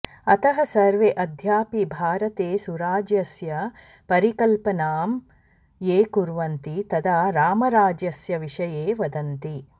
अतः सर्वे अद्यापि भारते सुराज्यस्य परिकल्पनां ये कुर्वन्ति तदा रामराज्यस्य विषये वदन्ति